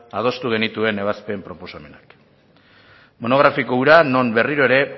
adostu genituen ebazpen proposamenak monografiko hura non berriro ere